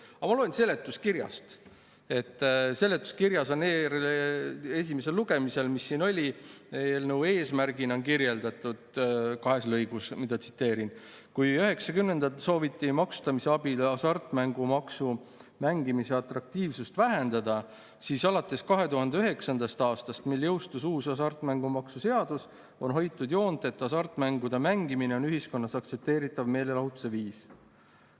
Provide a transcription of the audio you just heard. Aga ma loen seletuskirjast, mis siin esimesel lugemisel oli, et eelnõu eesmärki on seal kirjeldatud kahes lõigus, mida ma tsiteerin: "Kui 90ndatel sooviti maksustamise abil hasartmängu mängimise atraktiivsust vähendada, siis alates 2009. aastast, mil jõustus uus hasartmänguseadus, on hoitud joont, et hasartmängude mängimine on ühiskonnas aktsepteeritav meelelahutuse viis.